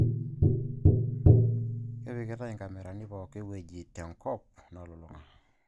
Kepikitai inkamerani pooki wueji te enkop nalulung'a